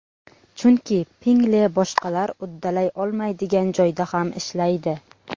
Chunki Pinngle boshqalar uddalay olmaydigan joyda ham ishlaydi!